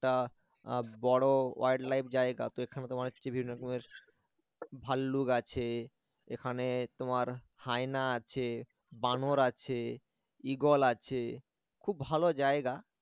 একটা বড় wild life জায়গা তো এখানে তোমার বিভিন্ন রকমের ভাল্লুক আছে এখানে তোমার হায়না আছে বানর আছে ঈগল আছে খুব ভালো জায়গা